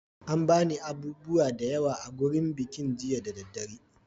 An ba ni abubuwa da yawa a gurin bikin jiya da daddare.